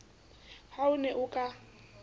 ha o ne o ka